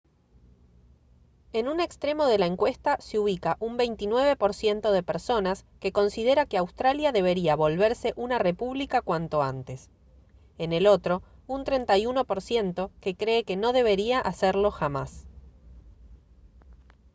en un extremo de la encuesta se ubica un 29 % de personas que considera que australia debería volverse una república cuanto antes; en el otro un 31 % que cree que no debería hacerlo jamás